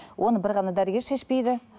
оны бір ғана дәрігер шешпейді